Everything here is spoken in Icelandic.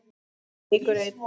Og leikur einn.